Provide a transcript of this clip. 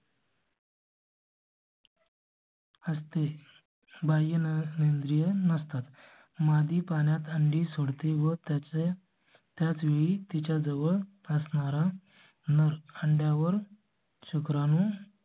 अर तें बाईन नगरीय नसतात मादी पाण्यात अंडी सोड ते व त्याचे त्याच वेळी तिच्या जवळ असणारा नर अंड्या वर शुक्रान.